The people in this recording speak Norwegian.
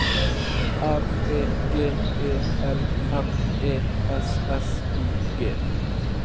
R E G E L M E S S I G